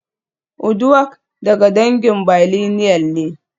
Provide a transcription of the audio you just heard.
Uduak daga dangin billineal ne